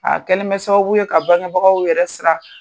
A kɛlen bɛ sababu ye ka bangenbagaw yɛrɛ sira